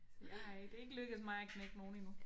Jeg har ikke det er lykkes mig at knække nogen endnu